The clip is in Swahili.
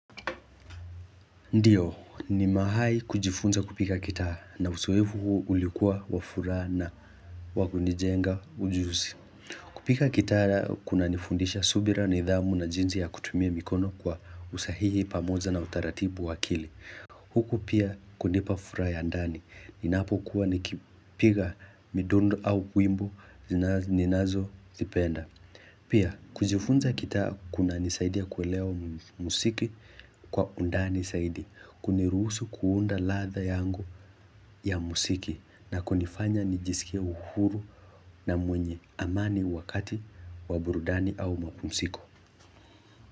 Ndiyo, ni mahai kujifunza kupiga ngitaa na uzoefu huu ulikuwa wa furaha na wakunijenga ujuzi. Kupika gitaa kunanifundisha subira na idhamu na jinsi ya kutumia mikono kwa usahihi pamoja na utaratibu wa akili. Huku pia kunipa furaha ya ndani. Ninapokuwa nikipiga midondo au wimbo zinaz ninazozipenda. Pia, kujifunza gitaa kunanisaidia kuelewa muziki kwa undani saidi, kuniruhusu kuunda ladha yangu ya musiki na kunifanya nijisikia uhuru na mwenye amani wakati wa burudani au mapumsiko.